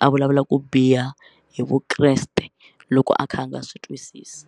a vulavula ku biha hi Vukreste loko a kha a nga swi twisisi.